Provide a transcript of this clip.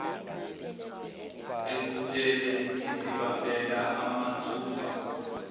ekhuthele ezibambela mathupha